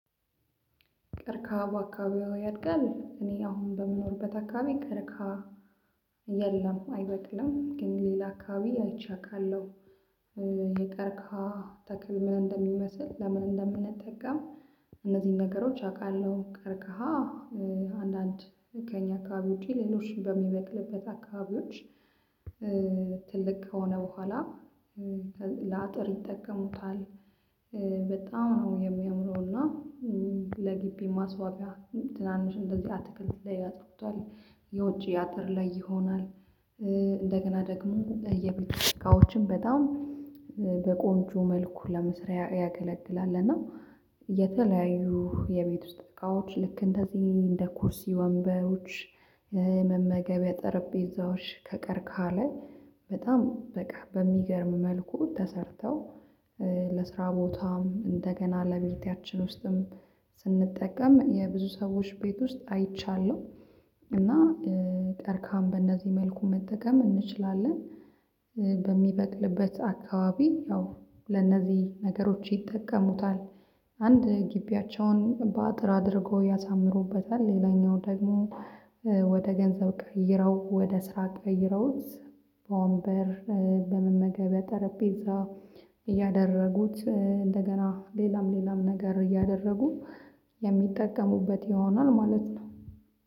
ቀርቅሃ በአካባቢው ያድጋል እኔ አሁን በምኖርበት አካባቢ ቅርቃ የለም አይበቅም ግን ሌላ አካባቢ አይቻካለሁ። የቀርካ ተክል ምን እንደሚመስል ለምን እንደምንጠቀም እነዚህን ነገሮች አውቃለሁ። ቀርቀሃ አንዳንድ ከእኛ አካባቢ ውጪ ሌሎች በሚበቅልበት አካባቢዎች ትልቅ ከሆነ በኋላ ለአጥር ይጠቀሙታል። በጣም ነው የሚያምነው እና ለግቢ ማስዋቢያ ትናንሽ እንደዚህ አትክልት ላይ አጥብቷል የውጪ አጥር ላይ ይሆናል። ደግሞ ለየብልጭት እቃዎችም በጣም በቆንጆ መልኩ ለመስሪያ ያገለግላል። እና የተለያዩ የቤት ውስጥ እቃዎች ልክ እንደዚህ እንደ ኩርሲ ወንበሮች መመገቢያ ጠረጴዛዎች ከቀርካለ በጣም በቃ በሚገርም መልኩ ተሰርተው ለስራ ቦታም እንደገና ለቤታችን ውስጥም ስንጠቀም የብዙ ሰዎች ቤት ውስጥ አይቻለሁ። እና ቀርክሃን በእነዚህ መልኩ መጠቀም እንችላለን። በሚበቅልበት አካባቢ ያው ለነዚህ ነገሮች ይጠቀሙታል አንድ ግቢያቸውን በአጥር አድርገው ያሳምሩበታል። ሌላኛው ደግሞ ወደ ገንዘብ ቀይረው ወደ ስራ ቀይረውት በወንበር በመመገብ በጠረጴዛ ጠረጴዛ እያደረጉት እንደገና ሌላም ሌላም ነገር እያደረጉ የሚጠቀሙበት ይሆናል ማለት ነው